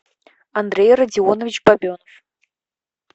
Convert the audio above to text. андрей родионович бабенов